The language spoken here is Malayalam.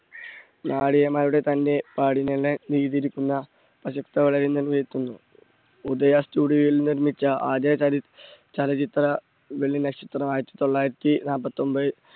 തന്റെ ഉദയ studio യിൽ നിർമ്മിച്ച ആദ്യ ച~ചലച്ചിത്രം വെള്ളിനക്ഷത്രം ആയിരത്തി തൊള്ളായിരത്തി നാല്പത്തൊമ്പത്